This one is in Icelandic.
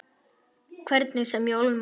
Hvernig sem ég ólmast.